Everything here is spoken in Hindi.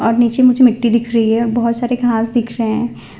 और नीचे मुझे मिट्टी दिख रही हैं बहोत सारे घास दिख रहे हैं।